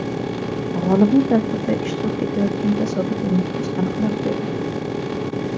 G‘olibni tadbirda ishtirok etayotgan tasodifiy muxlis aniqlab beradi.